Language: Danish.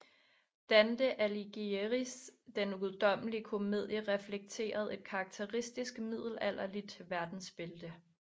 Dante Alighieris Den guddommelige komedie reflekterede et karakteristisk middelalderligt verdensbilde